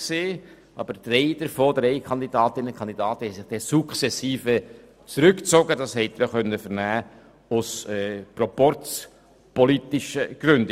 Aus proporzpolitischen Gründen haben sich drei aber nach und nach zurückgezogen.